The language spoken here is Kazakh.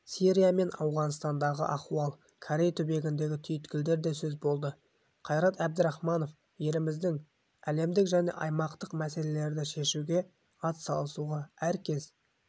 сирия мен ауғанстандағы ахуал корей түбегіндегі түйткілдер де сөз болды қайрат әбдірахманов еліміздің әлемдік және аймақтық мәселелерді шешуге ат салысуға әркез